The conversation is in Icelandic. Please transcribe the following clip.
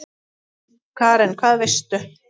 Karen: Hvað veistu?